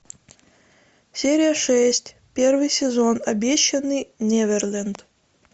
серия шесть первый сезон обещанный неверленд